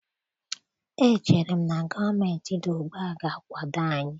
Echere m na gọọmentị dị ugbu a ga-akwado anyị